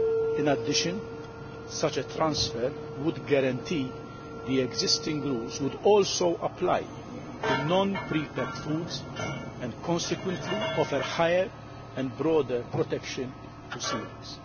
In addition, such a transfer would guarantee that the existing rules would also apply to non prepacked foods and would consequently offer higher and broader protection to coeliacs.